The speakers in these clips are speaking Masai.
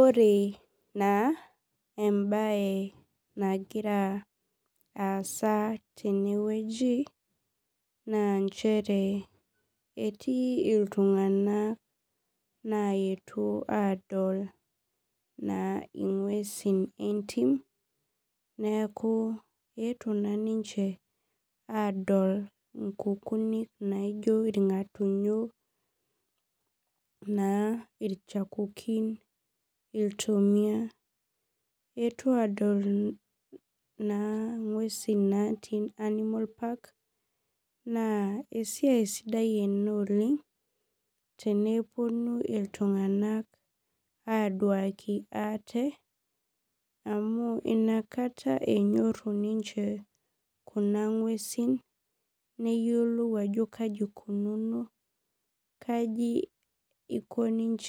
Ore na embae nagira aasa tenewueji na nchere etii ltunganak oetuo adol ngwesi entim neaku eetuo na ninche adol nkukunik naijo irngatunyo na irchakukin, iltomia eetua adol na ngwesi natii animal park entoki sidai ena neponu ltunganak aduaki ate amu inakata enyoru ninche ngwesi neyiolou ajo kaji ikununo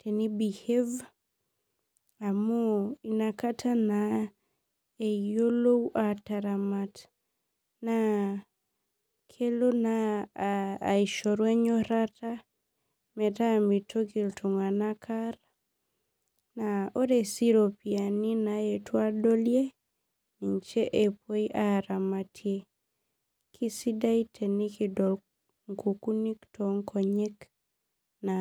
tenibehabe amu inakata eyilou ataramat na kelo na aishoru enyorata meraa mitoki ltunganak aar naa ore si iropiyiani naetua adoli nijche epuoi aramatie, neaku kesidai tenikidol nkukunik tonkonyek aang.